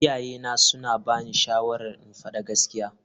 Iyayena suna bani shawarar in faɗi gaskiya.